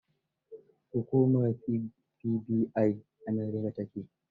Hukumar FBI a America ta ke.